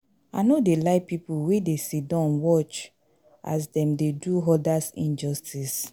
I no dey like pipo wey dey sidon watch as dem dey do others injustice.